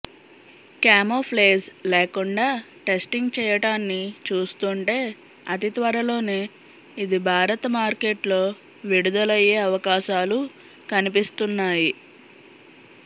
camouflage లేకుండా testing చేయటాన్ని చూస్తుంటే అతి త్వరలోనే ఇది భారత మార్కెట్లో విడుదలయ్యే అవకాశాలు కనిపిస్తున్నాయి